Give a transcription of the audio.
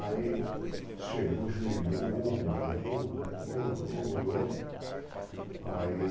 Aí chegou, joelhou, orou, orou, orou, orou. Aí